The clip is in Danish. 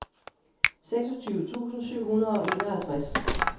seksogtyve tusind syv hundrede og enoghalvtreds